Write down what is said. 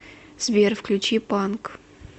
сбер включи панк